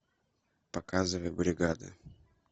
показывай бригада